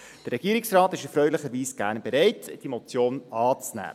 Der Regierungsrat ist erfreulicherweise gerne bereit, diese Motion anzunehmen.